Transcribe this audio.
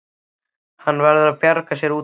Hann verður að bjarga sér út úr þessu.